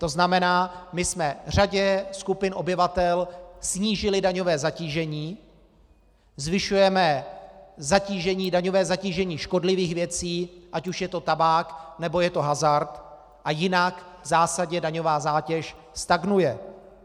To znamená, my jsme řadě skupin obyvatel snížili daňové zatížení, zvyšujeme daňové zatížení škodlivých věcí, ať už je to tabák, nebo je to hazard, a jinak v zásadě daňová zátěž stagnuje.